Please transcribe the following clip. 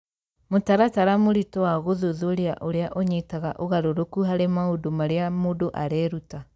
Mũtaratara mũritũ wa gũthuthuria ũrĩa ũnyitaga ũgarũrũku harĩ maũndũ marĩa mũndũ areruta